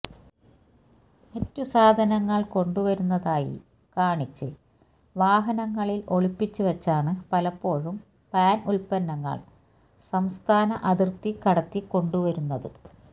മറ്റ് സാധനങ്ങള് കൊണ്ടുവരുന്നതായി കാണിച്ച് വാഹനങ്ങളില് ഒളിപ്പിച്ചുവെച്ചാണ് പലപ്പോഴും പാന് ഉല്പ്പന്നങ്ങള് സംസ്ഥാന അതിര്ത്തി കടത്തി ക്കൊണ്ടുരുന്നത്